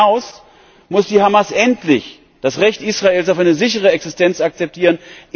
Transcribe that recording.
Aber darüber hinaus muss die Hamas endlich das Recht Israels auf eine sichere Existenz akzeptieren.